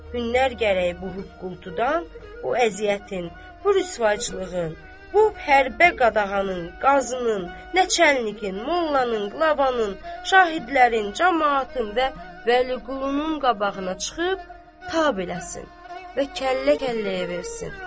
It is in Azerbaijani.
Hünnər gərəyi bu qorxuludan, o əziyyətin, bu rüsvayçılığın, bu hərbə qadağanın, qazın, nə çənliyinin, mollanın, qılabanın, şahidlərin, camaatın və Vəliqulunun qabağına çıxıb ta eləsin və kəllə-kəlləyə versin.